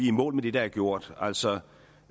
i mål med det der er gjort altså